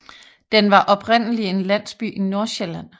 Den var oprindelig en landsby i Nordsjælland